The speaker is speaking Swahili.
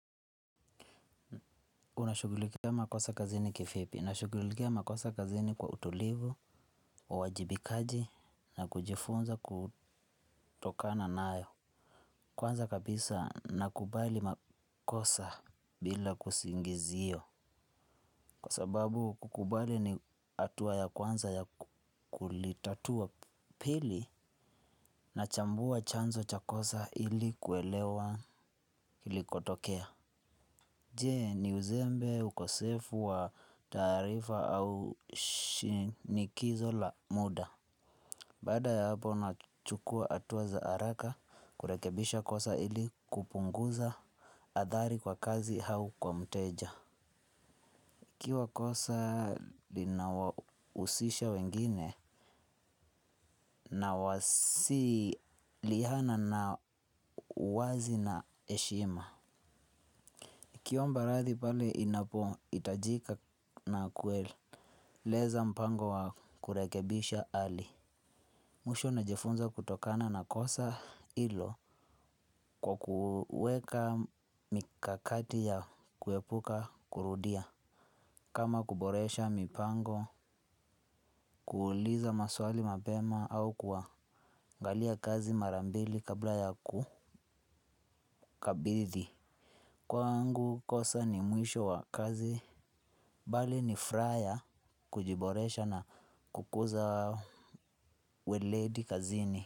Unashughulikia makosa kazini kivipi, nashughulikia makosa kazini kwa utulivu, uwajibikaji na kujifunza kutokana nayo. Kwanza kabisa nakubali makosa bila kusingizio. Kwa sababu kukubali ni hatua ya kwanza ya kulitatua, pili na chambua chanzo cha kosa ili kuelewa ili kotokea. Je, ni uzembe, ukosefu wa taarifa au shinikizo la muda? Baada ya hapo nachukua hatua za haraka kurekebisha kosa ili kupunguza adhari kwa kazi au kwa mteja. Ikiwa kosa lina husisha wengine, na wasiliana kwa wazi na heshima. Kiomba rathi pale inapo hitajika na kueleza mpango wa kurekebisha ali. Mwisho na jifunza kutokana na kosa hilo kwa kuweka mikakati ya kuepuka kurudia. Kama kuboresha mipango, kuuliza maswali mapema au kwangalia kazi marambili kabla ya kukabidhi. Kwangu kosa ni mwisho wa kazi, bali ni furaha ya kujiboresha na kukuza weledi kazini.